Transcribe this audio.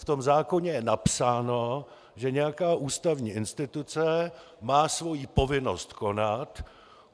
V tom zákoně je napsáno, že nějaká ústavní instituce má svoji povinnost konat.